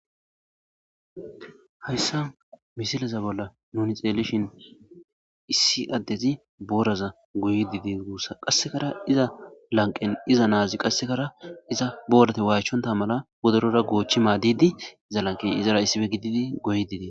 hayssa misilaza bolla nuni xeelishin issi addezi booraza goyi didi guussa qassekara iza lanqen iza naazi qassekara iza boorate waayichonta mala bodorora goochchi maaddidi za lanqey izara issife gididi goyi didee